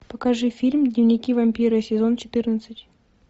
покажи фильм дневники вампира сезон четырнадцать